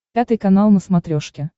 пятый канал на смотрешке